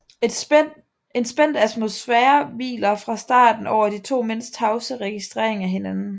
En spændt atmosfære hviler fra starten over de to mænds tavse registrering af hinanden